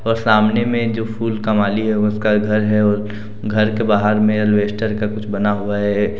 ओर सामने में जो फूल का माली है उसका घर है घर के बाहर में एलवेस्टर का कुछ बना हुआ है।